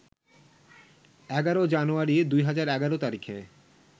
১১ জানুয়ারি ২০১১ তারিখে